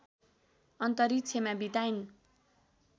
अन्तरिक्षमा बिताइन्